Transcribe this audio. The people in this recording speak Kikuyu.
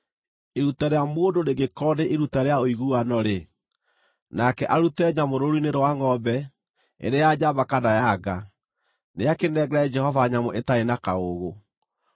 “ ‘Iruta rĩa mũndũ rĩngĩkorwo nĩ iruta rĩa ũiguano-rĩ, nake arute nyamũ rũũru-inĩ rwa ngʼombe, ĩrĩ ya njamba kana ya nga, nĩakĩnengere Jehova nyamũ ĩtarĩ na kaũũgũ.